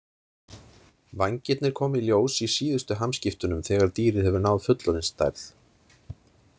Vængirnir koma í ljós í síðustu hamskiptunum þegar dýrið hefur náð fullorðinsstærð.